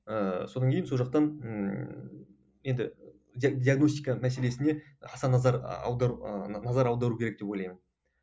ыыы содан кейін сол жақтан ы енді диагностика мәселесіне аса назар аудару ыыы назар аудару керек деп ойлаймын